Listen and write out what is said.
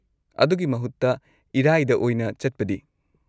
-ꯑꯗꯨꯒꯤ ꯃꯍꯨꯠꯇ ꯏꯔꯥꯏꯗ ꯑꯣꯏꯅ ꯆꯠꯄꯗꯤ?